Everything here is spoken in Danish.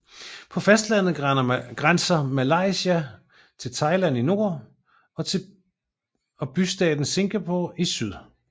På fastlandet grænser Malaysia til Thailand i nord og bystaten Singapore i syd